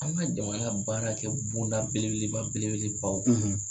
An ka jamana baara kɛ bonda belebeleba belebelebaw